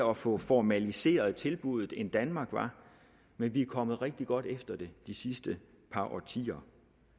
og at få formaliseret tilbuddet end danmark var men vi er kommet rigtig godt efter det de sidste par årtier